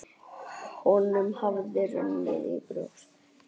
Honum hafði runnið í brjóst.